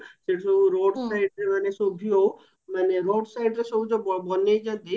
ସେଠି ସବୁ road siteରେ ମାନେ ହଉ ମାନେ road sitere ସବୁ ଯଉ ବନେଇଚନ୍ତି